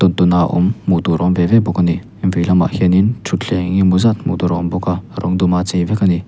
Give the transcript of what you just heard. tawn tawna awm hmuh tur awm ve ve bawk a ni veilamah hianin thutthleng eng emaw zat hmuh tur a awm bawk a rawng duma chei vek a ni.